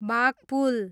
Baghpul